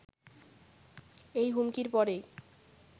এই হুমকির পরেই